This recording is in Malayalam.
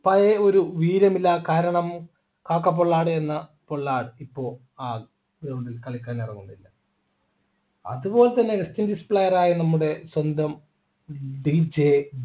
പഴയ ഒരു വീര്യമില്ല കാരണം കാക്കപ്പൊളാണു എന്ന പൊല്ലാ ഇപ്പൊ ആ കളിക്കാനിറങ്ങുനില്ല അതുപോലെതന്നെ player ആയ നമ്മുടെ സ്വന്തം